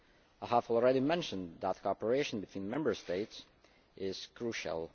I have already mentioned that cooperation between Member States is crucial.